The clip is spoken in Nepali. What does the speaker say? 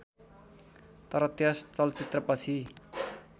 तर त्यस चलचित्रपछि